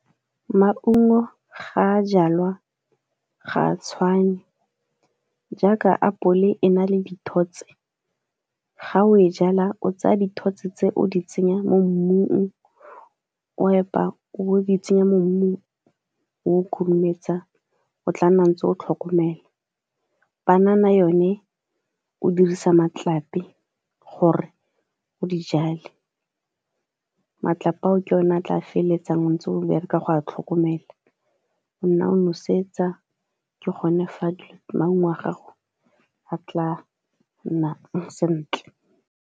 Mqungo ga a jalwa ga a tshwane, jaaka apole e na le dithotse ga o e jala o tsaya dithotse tse o di tsenya mo mmung o epa o di tsenya mo mmung o khurumetsa o tla nna ntse o tlhokomela. Banana yone, o dirisa matlapi gore o di jale matlapi ao ke one a tla feleletsang a ntse bereka go a tlhokomela go nna o nosetsa ke gone fa maungo a gago a tla nnang sentle.